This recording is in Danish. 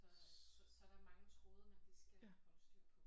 Så er der så så er der mange tråde man lige skal holde styr på